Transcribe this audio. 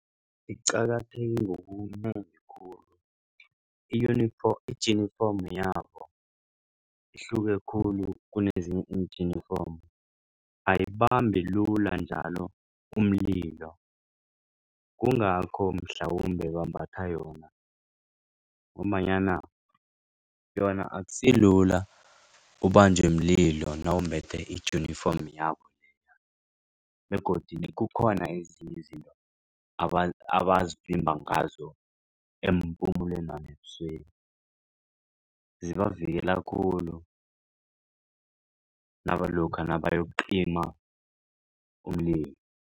Iqakatheke i-uniform ijinifomu yabo ihluke khulu kunezinye iinjinifomu ayibambi lula njalo umlilo kungakho mhlawumbe bambatha yona. Ngombanyana yona akusilula ubanjwe mlilo nawumbethe ijinifomu yabo begodu kukhona ezinye izinto ngazo eempumulweni nebusweni zibavikela khulu nabayokucima umlilo.